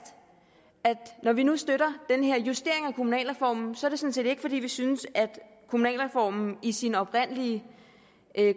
at når vi nu støtter den her justering af kommunalreformen sådan set ikke fordi vi synes at kommunalreformen i sin oprindelige